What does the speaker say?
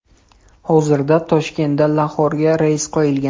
Hozirda Toshkentdan Laxorga reys qo‘yilgan.